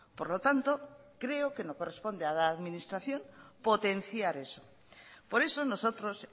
por lo tanto creo que no corresponde a la administración potenciar eso por eso nosotros